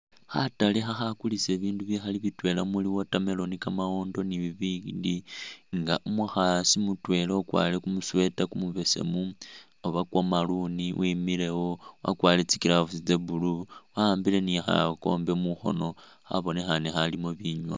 Khatale khakhakulisa bibindu bikhali bitwela muli watermelon ,kamawondo ni bibindi ,nga umukhaasi mutwela ukwarire kumusweta kumubesemu oba kwo maroon wemilewo wakwarire tsi'gloves tse'blue ,waani khakombe mukhono khabonekhane khalimo binywa